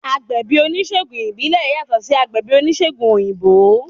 Agbẹ̀bí oníṣègùn ìbílẹ̀ yàtọ̀ sí agbẹ̀bí oníṣègùn òyìnbó